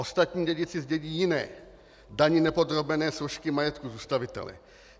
Ostatní dědici zdědí jiné, dani nepodrobené složky majetku zůstavitele.